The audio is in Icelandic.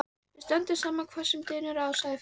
Við stöndum saman hvað sem á dynur sagði Friðrik.